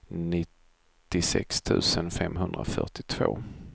nittiosex tusen femhundrafyrtiotvå